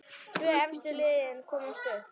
Tvö efstu liðin komast upp.